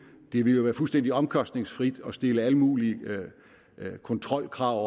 det ville jo være fuldstændig omkostningsfrit at stille alle mulige kontrolkrav